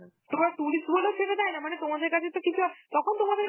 তোমার tourist বলে ছেড়ে দেয় না, মানে তোমাদের কাছে তো কিছু এক~ তখন তোমাদের